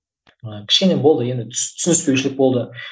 ы кішкене болды енді түсініспеушілік болды